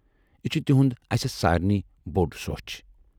یہِ چھِ تِہُند اسہِ سارِنٕے بوڈ سۅچھ۔